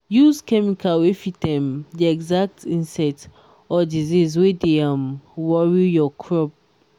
use chemical wey fit um the exact insect or disease wey dey um worry your crop.